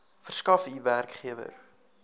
verskaf u werkgewer